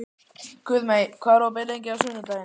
Guðmey, hvað er opið lengi á laugardaginn?